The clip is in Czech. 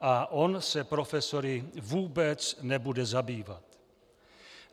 a on se profesory vůbec nebude zabývat.